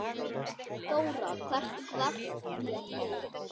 Þóra: Hvernig varð þér við?